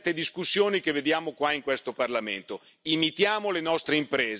Imitiamo le nostre imprese per garantire una vera sostenibilità.